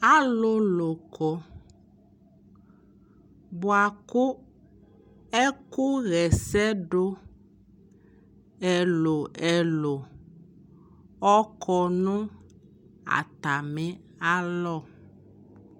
alʋlʋ kɔ bʋakʋ ɛkʋ yɛsɛ dʋ ɛlʋɛlʋ ɔkɔnʋ atami alɔ